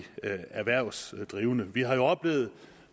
erhvervsdrivende vi har jo oplevet